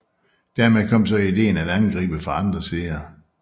Dermed kom så ideen at angribe fra andre sider